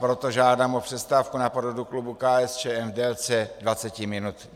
Proto žádám o přestávku na poradu klubu KSČM v délce 20 minut.